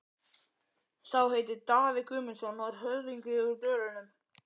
Sá heitir Daði Guðmundsson og er höfðingi úr Dölunum.